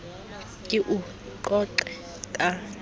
a ke o qoqe ka